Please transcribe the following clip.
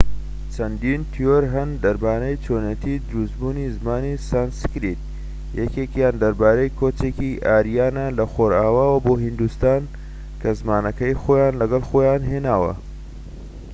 چەندین تیۆر هەن دەربارەی چۆنیەتی دروست بوونی زمانی سانسکریت یەکێکیان دەربارەی کۆچێکی ئاریانە لە خۆرئاواوە بۆ هیندستان کە زمانەکەی خۆان لەگەڵە خۆیان هێناوە